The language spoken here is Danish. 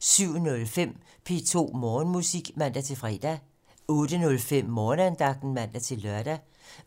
07:05: P2 Morgenmusik (man-fre) 08:05: Morgenandagten (man-lør)